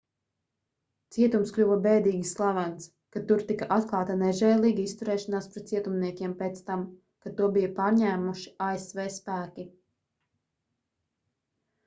cietums kļuva bēdīgi slavens kad tur tika atklāta nežēlīga izturēšanās pret cietumniekiem pēc tam kad to bija pārņēmuši asv spēki